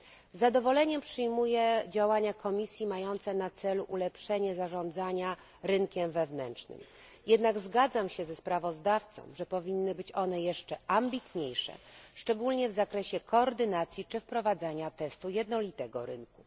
Z zadowoleniem przyjmuję działania Komisji mające na celu ulepszenie zarządzania rynkiem wewnętrznym, jednak zgadzam się ze sprawozdawcą, że powinny być one jeszcze ambitniejsze, szczególnie w zakresie koordynacji czy wprowadzania testu jednolitego rynku.